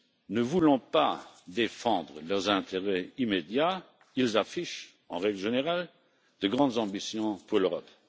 Ne voulant pas défendre leurs intérêts immédiats, ils affichent, en règle générale, de grandes ambitions pour l'Europe.